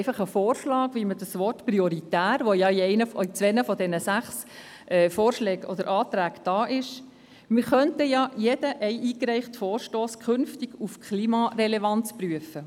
Ein Vorschlag zum Wort «prioritär», das in zwei der sechs Anträge vorkommt: Wir könnten ja jeden eingereichten Vorstoss künftig auf dessen Klimarelevanz hin prüfen.